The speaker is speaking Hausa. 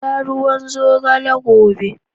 Sha ruwan zogale gobe.